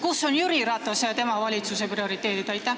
Kus on Jüri Ratase ja tema valitsuse prioriteedid?